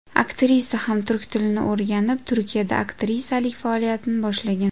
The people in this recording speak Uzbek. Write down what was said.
Aktrisa ham turk tilini o‘rganib, Turkiyada aktrisalik faoliyatini boshlagan.